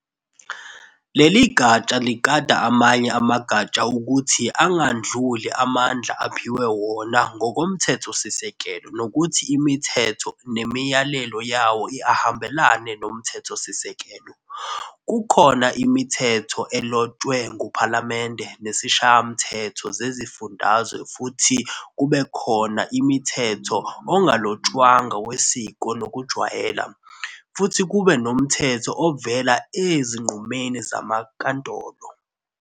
Leligatsha ligada amanye amagatsha ukuthi angandluli amandla uphiwe wona ngokomthethosisekelo nokuthi imithetho nemiyalelo yawo ahambelana nomthethosisekelo. Kukhona imithetho elotshwe nguPhalamende nezishayamthetho zezifundazwe futhi kube khona imithetho ongalotshwanga wesiko nokujwayela, futhi kube nomthetho ovela ezinqumeni zamankantolo.